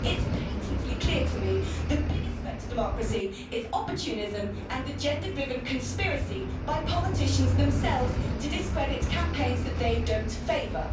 It's patently clear to me that the biggest threat to democracy is opportunism and the gender driven conspiracy by politicians themselves to discredit campaigns that they don't favour.